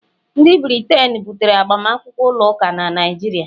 Ndị Briten butere agbamakwụkwọ ụlọ ụka na Naịjirịa